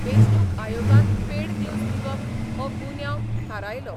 वेंचणूक आयोगान paid news दिवप हो गुन्यांब थारायलो.